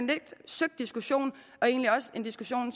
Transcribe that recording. lidt søgt diskussion og egentlig også en diskussion